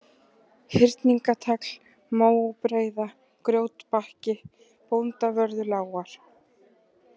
Hyrningatagl, Móbreiða, Grjótbakki, Bóndavörðulágar